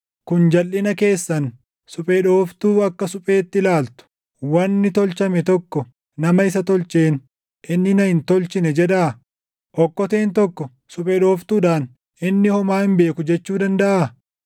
Kun jalʼina keessan, suphee dhooftuu akka supheetti ilaaltu! Wanni tolchame tokko nama isa tolcheen “Inni na hin tolchine” jedhaa? Okkoteen tokko suphee dhooftuudhaan, “Inni homaa hin beeku” jechuu dandaʼaa?